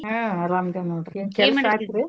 ಹಾ ಅರಾಮದೀವ್ ನೋಡ್ರಿ ಏನ್ ಕೆಲ್ಸ ಆತ್ರೀ .